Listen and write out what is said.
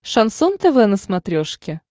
шансон тв на смотрешке